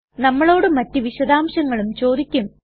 നമ്മളോട് മറ്റ് വിശദാംശങ്ങളും ചോദിക്കും